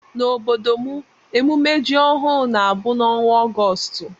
Na ọbọdọ mụ emume jị ọhụụ na abụ na ọnwa Augoostu.